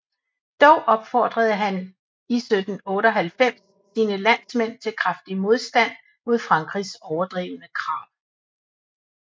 Dog opfordrede han 1798 sine landsmænd til kraftig modstand mod Frankrigs overdrevne krav